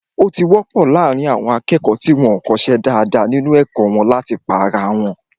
Ó ti wọ́pọ̀ láàrín àwọn akẹ́kọ̀ọ́ tí wọ́n ko ṣe dáadáa nínu ẹ̀kọ́ wọn láti pá ara wọn